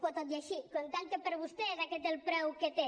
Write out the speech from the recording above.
però tot i així comptant que per a vostè és aquest el preu que té